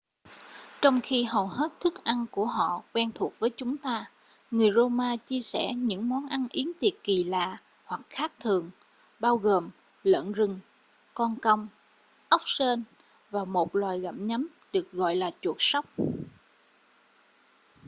trong khi hầu hết thức ăn của họ quen thuộc với chúng ta người rô-ma chia sẻ những món ăn yến tiệc kỳ lạ hoặc khác thường bao gồm lợn rừng con công ốc sên và một loài gặm nhấm được gọi là chuột sóc